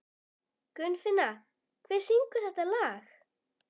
Gunnfinna, hver syngur þetta lag?